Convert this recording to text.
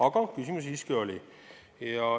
Aga küsimusi siiski oli.